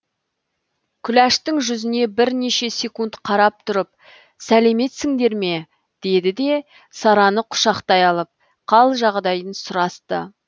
күләштің жүзіне бірнеше секунд қарап тұрып сәлеметсіңдер ме деді де сараны құшақтай алып қал жағдайын сұрасты